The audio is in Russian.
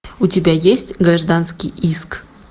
у тебя есть гражданский иск